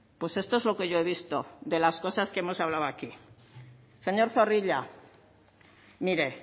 pues esto es lo que yo he visto de las cosas que hemos hablando aquí señor zorrilla mire